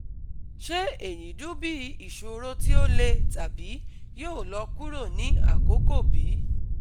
Ṣe eyi dun bi iṣoro ti o le tabi yoo lọ kuro ni akoko bi?